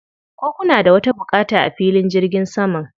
Ko kuna da wata buƙata a filin jirgin saman?